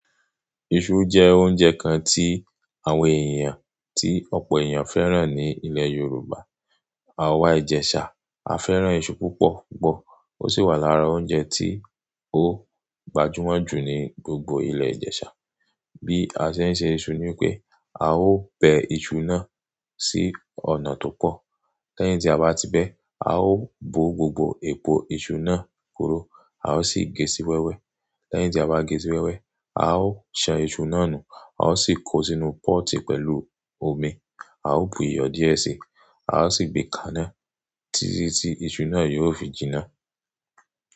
Iṣu jẹ́ oúnjẹ kan tí àwọn èèyàn, tí ọ̀pọ̀ èèyàn fẹ́ràn ní ilẹ̀ Yorùbá. Àwa Ijesa, a fẹ́ràn iṣu púpọ̀ púpọ̀. Ó sì wà lára oúnjẹ tí ó gbajúmọ̀ jù ní gbogbo ilẹ̀ Ìjẹ̀sà. Bí a ṣe ń se iṣu ni pé, a ó bẹ iṣu náà sí ọ̀nà tó pọ̀. Lẹ́yìn tí a bá ti bẹ, a ó bo gbogbo epo iṣu náà kuró, a ó sì gé sì wẹ́wẹ́. Lẹ́yìn tí a bá gésì wẹ́wẹ́, a ó ṣan iṣu náà nù, a ó sì kó sínú pọ́ọ̀tì pẹ̀lú omi. A ó bu iyọ̀ díẹ̀ sí, a ó sì gbé kaná tìtí tí iṣu náà yóò fi jinná.